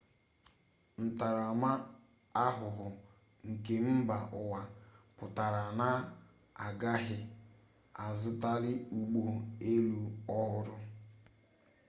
ntarama-ahuhu nke mba uwa putara na agaghi azutali ugbo-elu ohuru